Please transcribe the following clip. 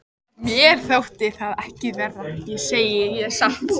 Mér þótti það ekki verra, það segi ég satt.